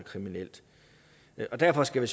kriminelt derfor skal vi